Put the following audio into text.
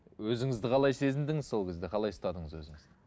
өзіңізді қалай сезіндіңіз сол кезде қалай ұстадыңыз өзіңізді